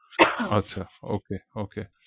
আচ্ছা okay okay